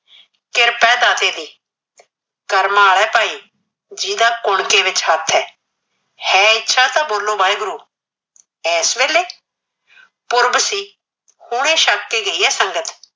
ਕਹਿ ਦਾਤੇ ਦੀ, ਕਰਮਾ ਆਏ ਭਾਈ ਜਿਹੜਾ ਕੁਣਕੇ ਵੀ ਸ਼ੱਕ ਐ, ਹੈ ਇੱਛਾ ਤਾਂ ਬੋਲੋ ਵਾਹਿਗੁਰੂ। ਐਸ ਵੇਲੇ, ਪੁਰਬ ਸੀ, ਹੁਣੇ ਛੱਕ ਕੇ ਗਈ ਐ ਸੰਗਤ।